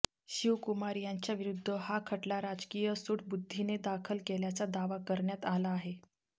शिवकुमार यांच्याविरुध्द हा खटला राजकीय सूडबुद्धीने दाखल केल्याचा दावा करण्यात आला आहे